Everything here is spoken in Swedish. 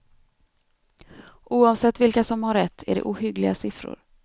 Oavsett vilka som har rätt är det ohyggliga siffror.